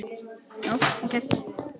Já, ok.